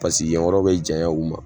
Paseke yen yɔrɔ be janya u ma